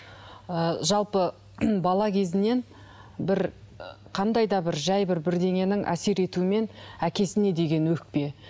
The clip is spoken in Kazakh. ы жалпы бала кезінен бір ы қандай да бір жай бір бірдеңенің әсер етуімен әкесіне деген өкпе